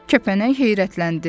Kəpənək heyrətləndi.